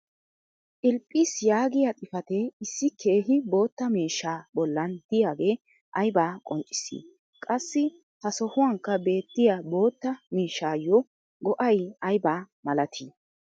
philiphis yaagiya xifatee issi keehi bootta miishshaa bolan diyaage aybaa qonccissii? qassi ha sohuwankka beettiya bootta miishshaayo go'ay ayba malatii?